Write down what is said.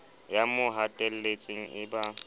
ya mo hatelletseng e ba